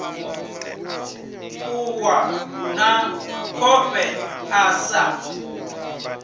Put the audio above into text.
ṱuwa na khofhe a sa